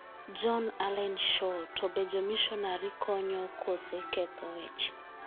John Allen Chau:To be jomishonari konyo kose ketho weche?